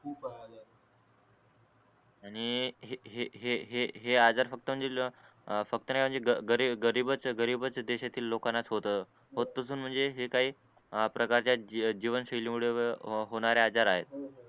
आणि हे हे हे आजार फक्त म्हणजे फक्त ना म्हणजे गरीब गरीबच गरीबच देशातील लोकांनाच होत म्हणजे हे काही अ प्रकारच्या जीव जीवन शैली मुळे होणारे आजार आहेत